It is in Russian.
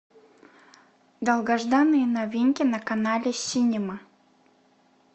долгожданные новинки на канале синема